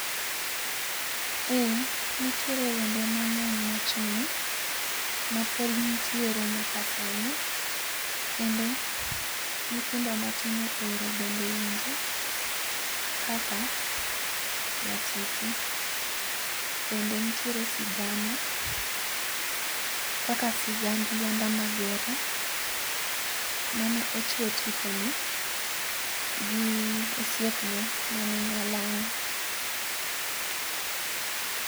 Eee nitiere wende mang'eny machon, mapod nitiere nyaka sani kendo nyithindo matindo ohero bende winjo, kaka nyatiti, bende nitiere sigana kaka sigand Lwanda Magere mane ochuo tipone gi osiepne mane nya lang'o